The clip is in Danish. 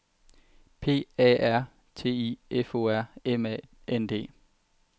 P A R T I F O R M A N D